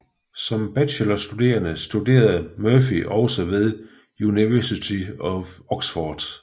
Som bachelorstuderende studerede Murphy også ved University of Oxford